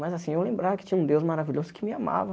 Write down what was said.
Mas, assim, eu lembrava que tinha um Deus maravilhoso que me amava.